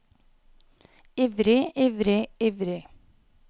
ivrig ivrig ivrig